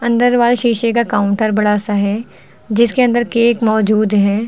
अंदर वाल शीशे का काउंटर बड़ा सा है जिसके अंदर केक मौजूद है।